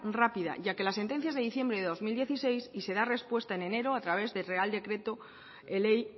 rápida ya que la sentencia es de diciembre de dos mil dieciséis y se da respuesta en enero a través del real decreto ley